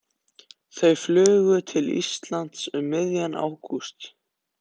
Þau flugu til Íslands um miðjan ágúst.